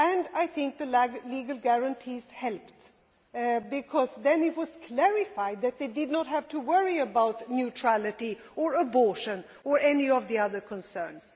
I think the legal guarantees helped, because then it was clarified that they did not have to worry about neutrality or abortion or any of the other concerns.